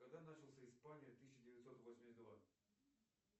когда начался испания тысяча девятьсот восемьдесят два